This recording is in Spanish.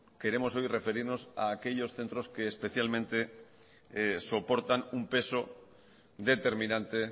queremos hoy referirnos a aquellos centros que especialmente soportan unpeso determinante